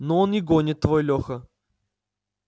ну он и гонит твой леха